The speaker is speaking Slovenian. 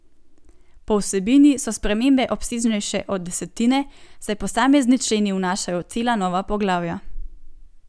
Po vsebini so spremembe obsežnejše od desetine, saj posamezni členi vnašajo cela nova poglavja.